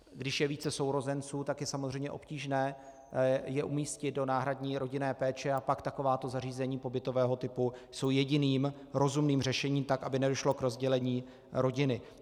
Když je více sourozenců, tak je samozřejmě obtížné je umístit do náhradní rodinné péče a pak takováto zařízení pobytového typu jsou jediným rozumným řešením, tak aby nedošlo k rozdělení rodiny.